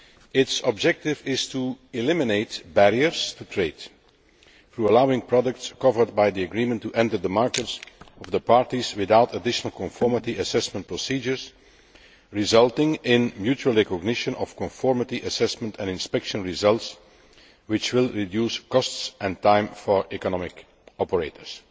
Its objective is to eliminate barriers to trade, through allowing products covered by the agreement to enter the markets of the parties without additional conformity assessment procedures, resulting in mutual recognition of conformity assessment and inspection results, which will reduce costs and time for economic operators.